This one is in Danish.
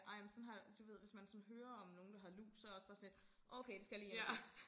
Ej men sådan har du ved hvis man sådan hører om nogen der har lus så jeg også bare sådan lidt okay det skal jeg lige hjem og tjek